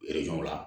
la